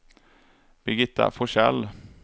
Birgitta Forsell